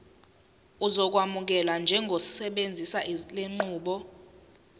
uzokwamukelwa njengosebenzisa lenqubo